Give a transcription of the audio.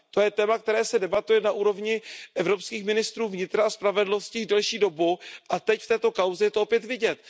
To je téma, které se debatuje na úrovni evropských ministrů vnitra a spravedlnosti již delší dobu a teď v této kauze je to opět vidět.